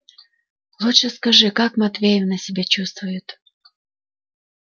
лучше скажи как матвеевна себя чувствует